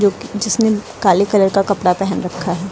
जिसने काले कलर का कपड़ा पहन रखा है।